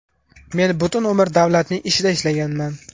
Men butun umr davlatning ishida ishlaganman.